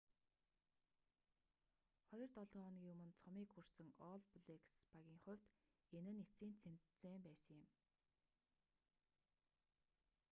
хоёр долоо хоногийн өмнө цомыг хүртсэн олл блэкс багийн хувьд энэ нь эцсийн тэмцээн байсан юм